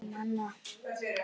ina mína.